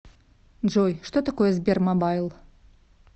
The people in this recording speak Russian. джой что такое сбермобайл